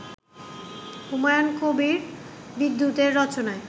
হুমায়ূন কবির বিদ্যুতের রচনায়